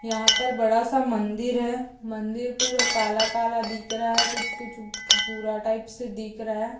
यहा पर बड़ा सा मंदिर है मंदिर पूरा काला काला दिख रा ए कुछ कुछ भूरा टाईप से दिख रा ए